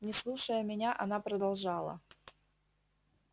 не слушая меня она продолжала